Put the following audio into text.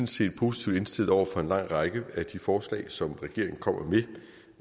set positivt indstillet over for en lang række af de forslag som regeringen kommer med